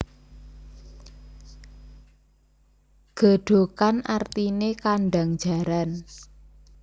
Gedhogan artine kandhang jaran